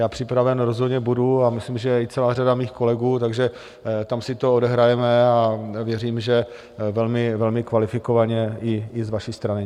Já připraven rozhodně budu a myslím, že i celá řada mých kolegů, takže tam si to odehrajeme a věřím, že velmi kvalifikovaně i z vaší strany.